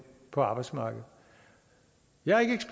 på arbejdsmarkedet jeg